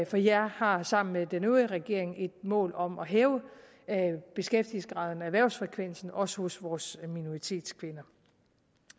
for jeg har sammen med den øvrige regering et mål om at hæve beskæftigelsesgraden og erhvervsfrekvensen også hos vores minoritetskvinder